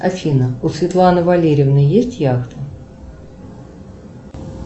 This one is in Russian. афина у светланы валерьевны есть яхта